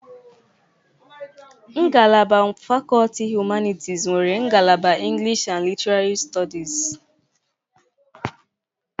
Ngalaba fakọlti humanịtis nwere ngalaba English and Literary studies.